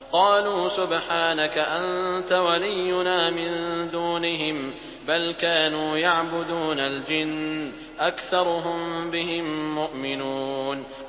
قَالُوا سُبْحَانَكَ أَنتَ وَلِيُّنَا مِن دُونِهِم ۖ بَلْ كَانُوا يَعْبُدُونَ الْجِنَّ ۖ أَكْثَرُهُم بِهِم مُّؤْمِنُونَ